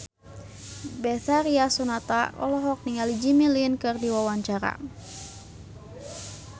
Betharia Sonata olohok ningali Jimmy Lin keur diwawancara